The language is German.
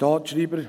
Den